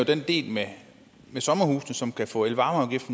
den del med sommerhusene som kan få elvarmeafgift